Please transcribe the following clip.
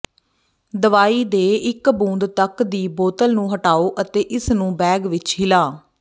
ਦਵਾਈ ਦੇ ਇੱਕ ਬੂੰਦ ਤੱਕ ਦੀ ਬੋਤਲ ਨੂੰ ਹਟਾਓ ਅਤੇ ਇਸ ਨੂੰ ਬੈਗ ਵਿਚ ਹਿਲਾ